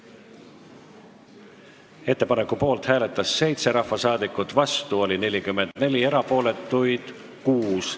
Hääletustulemused Ettepaneku poolt hääletas 7 rahvasaadikut, vastu oli 44, erapooletuid 6.